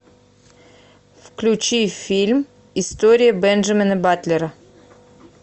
включи фильм история бенджамина батлера